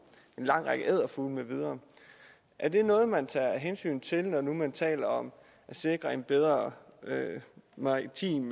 en lang række edderfugle med videre er det noget man tager hensyn til når nu man taler om at sikre en bedre maritim